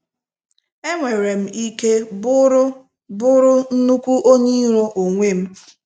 Enwerem ike bụrụ bụrụ nnukwu onye iro onwe m.